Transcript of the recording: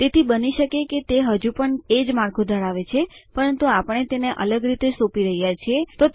તેથી બની શકે કે તે હજુ પણ એ જ માળખું ધરાવે છે પરંતુ આપણે તેને અલગ રીતે સોંપી રહ્યા છીએ